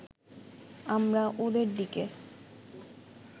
আমরা ওদের দিকে